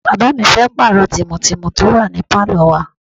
Bàbá mi fẹ́ pààrọ̀ tìmù tìmù tó wà ní Pálò wa.